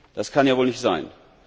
Das kann ja wohl nicht sein!